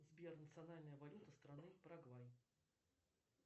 сбер национальная валюта страны парагвай